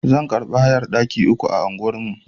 Zan karbi hayar ɗaki uku ana unguwar.